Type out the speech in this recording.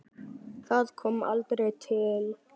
Það kom aldrei til.